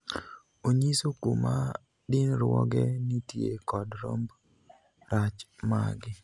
Onyiso kuma dinruoge nitie kod romb rach maggi.